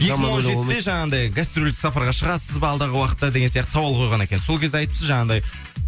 екі мың он жетіде жаңағындай гастрольдік сапарға шығасыз ба алдағы уақытта деген сияқты сауал қойған екен сол кезде айтыпсыз жаңағындай